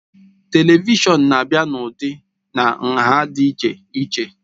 Televishọn na-abịa n'ụdị na nha dị iche iche